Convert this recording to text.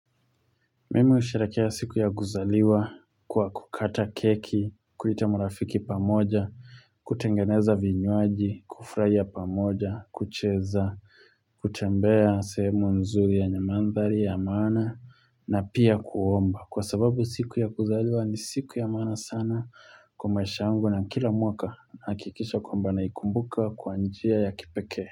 Mimi husherekea siku ya kuzaliwa kwa kukata keki, kuita marafiki pamoja, kutengeneza vinywaji, kufrahia pamoja, kucheza, kutembea sehemu nzuri yenye manthari ya maana na pia kuomba. Kwa sababu siku ya kuzaliwa ni siku ya maana sana kwa maisha yangu na kila mwaka nahakikisha kwamba naikumbuka kwa njia ya kipekee.